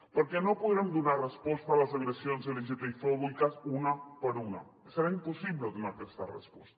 perquè no podrem donar resposta a les agressions lgtbi fòbiques una per una serà impossible donar aquesta resposta